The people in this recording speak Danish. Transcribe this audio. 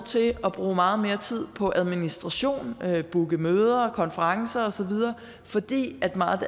til at bruge meget mere tid på administration bookning af møder konferencer osv fordi meget af